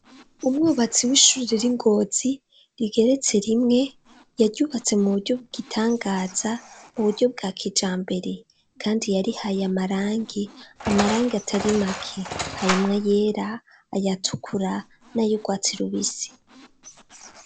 Umwubatsi w'ishure riri ingozi rigeretse rimwe yaryubatse mu buryo bwigitangaza muburyo bwa kijambere kandi yarihaye amarangi, amarangi atari make harimwo ayera ayatukura n'ayugwatsi rubisi.